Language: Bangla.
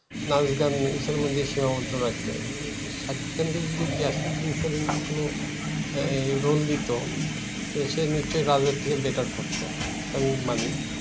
নাচ গান এটার মধ্যেই সীমাবদ্ধ রাখে। আহ সাকিব খানকে যদি গিয়াসুদ্দিন সেলিম কোনো আহ roll দিতো, সে সে নিশ্চই রাজের থেকে better করতো, তা আমি মানি।